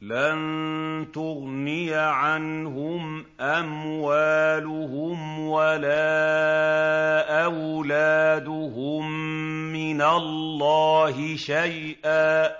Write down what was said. لَّن تُغْنِيَ عَنْهُمْ أَمْوَالُهُمْ وَلَا أَوْلَادُهُم مِّنَ اللَّهِ شَيْئًا ۚ